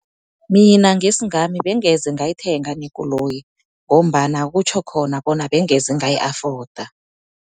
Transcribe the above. Mina ngesingami bengeze ngayithenga nekoloyi, ngombana kutjho khona bona bengeze ngayi-afforda.